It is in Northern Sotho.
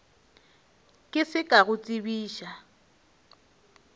ke se ka go tsebiša